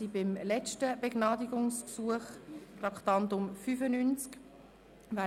Wir kommen zum letzten Begnadigungsgesuch, Traktandum 95.